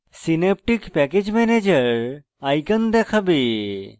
synaptic package manager icon দেখাবে